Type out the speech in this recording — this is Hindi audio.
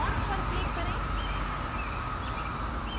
font पर click करें